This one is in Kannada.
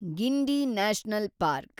Guindy national park